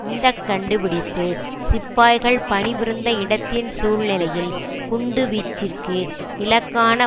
இந்த கண்டுபிடிப்பு சிப்பாய்கள் பணிபுரிந்த இடத்தின் சூழ்நிலையில் குண்டுவீச்சிற்கு இலக்கான